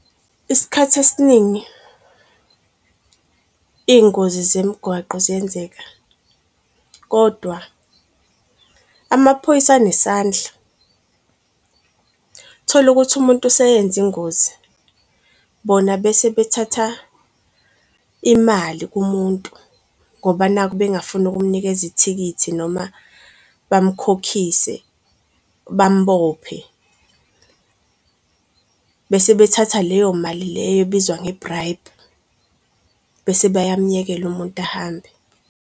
Isikhathi esiningi iy'ngozi zemigwaqo ziyenzeka kodwa amaphoyisa anesandla, uthola ukuthi umuntu useyenza ingozi bona bese bethatha imali kumuntu ngoba nakhu bengafuni ukukumnikeza ithikithi noma bamukhokhise, bambophe. Bese bethathe leyo mali leyo ebizwa nge-bribe, bese bayamuyekela umuntu ahambe.